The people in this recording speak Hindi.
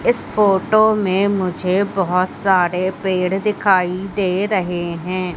इस फोटो में मुझे बहोत सारे पेड़ दिखाई दे रहे हैं।